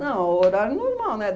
Não, o horário normal, né?